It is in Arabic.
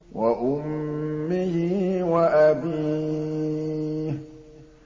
وَأُمِّهِ وَأَبِيهِ